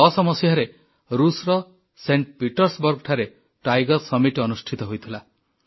2010 ମସିହାରେ ଋଷର ସେଂଟ ପିଟର୍ସବର୍ଗଠାରେ ବ୍ୟାଘ୍ର ସମ୍ମେଳନ ଅନୁଷ୍ଠିତ ହୋଇଥିଲା